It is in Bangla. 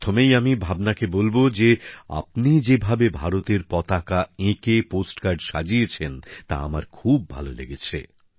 প্রথমেই আমি ভাবনাকে বলব যে আপনি যেভাবে ভারতের পতাকা এঁকে পোস্ট কার্ড সাজিয়েছেন তা আমার খুব ভালো লেগেছে